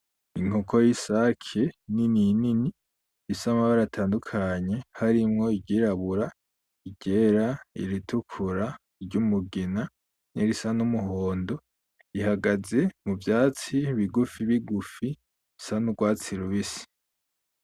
Inkoko y’isake nini nini ifise amabara atandukanye harimwo iryirabura, iryera, iritukura, iry’umugina nirisa n’umuhondo ihagaze mu vyatsi bigufi bigufi bisa n’urwatsi rubisi.